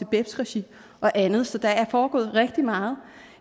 beps regi og andet så der er foregået rigtig meget